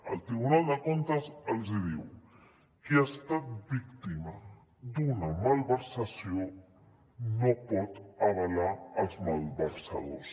el tribunal de comptes els hi diu qui ha estat víctima d’una malversació no pot avalar els malversadors